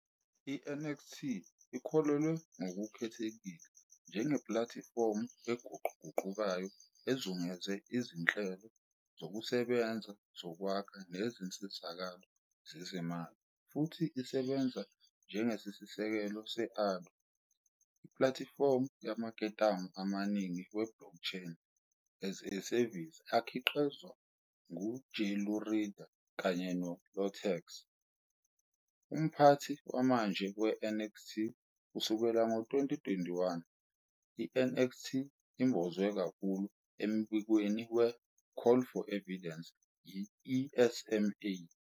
I-NXT ikhulelwe ngokukhethekile njengeplatifomu eguquguqukayo ezungeze izinhlelo zokusebenza zokwakha nezinsizakalo zezezimali, futhi isebenza njengesisekelo se-ARDR, "Ardor", ipulatifomu yamaketanga amaningi we-blockchain-as-a-service akhiqizwa nguJelurida, kanye ne- IoTeX, cryptocurrency, umphathi wamanje weNxt kusukela ngo-2021. I-NXT imbozwe kakhulu embikweni we- "Call for Evidence" yi- ESMA.